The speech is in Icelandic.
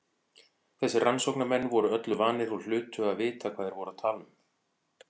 Þessir rannsóknarmenn voru öllu vanir og hlutu að vita hvað þeir voru að tala um.